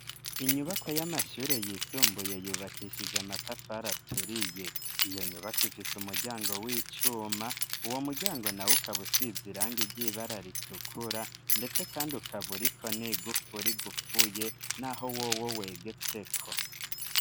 Inyubakwa y'amashure yisumbuye yubakishije amatafari aturiye. Iyo nyubako ifise umuryango w'icuma, uwo muryango nawo ukaba usize iranga iry'ibara ritukura, ndetse kandi ukaburiko n'igufuri igufuye n'aho wowo wegetseko.